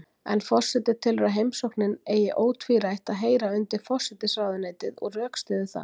En forseti telur að heimsóknin eigi ótvírætt að heyra undir forsætisráðuneytið og rökstyður það.